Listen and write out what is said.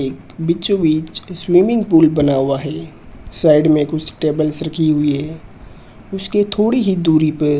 एक बीचों बीच स्विमिंग पूल बना हुआ है साइड में कुछ टेबल्स रखी हुई है उसके थोड़ी ही दूरी पे --